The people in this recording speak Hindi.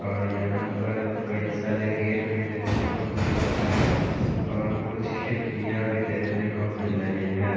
ओर यहाँ पर कई सारे गेट भी देखने को मिल रहे है और कुछ खिड़किया भी देखने को मिल रही है।